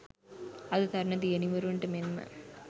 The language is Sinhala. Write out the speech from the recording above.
අද තරුණ දියණිවරුන්ට මෙන්ම